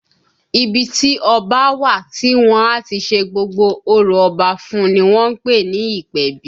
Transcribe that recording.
Ibi tí ọba a wà tí wọ́n á ti ṣe gbogbo orò Ọba fún un ni wọ́n ń pè ní ìpèbí